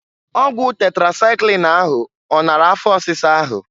Ọgwụ tetrasaịklin ahụ ọ nara afọ ọsisa ahụ?